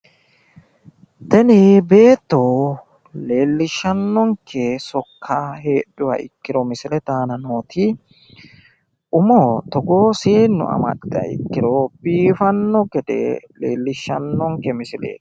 Tini beetto leellishshannonke sokka heedhuha ikkiro misilete aana nooti umo togoo seennu amaxxiro ikkiro biifanno gede leellishshannonke misileeti.